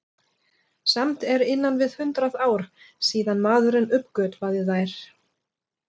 Samt eru innan við hundrað ár síðan maðurinn uppgötvaði þær.